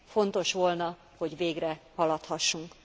Fontos volna, hogy végre haladhassunk.